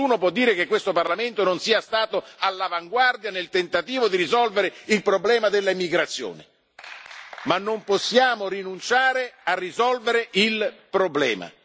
Nessuno può dire che questo Parlamento non sia stato all'avanguardia nel tentativo di risolvere il problema dell'immigrazione, ma non possiamo rinunciare a risolvere il problema.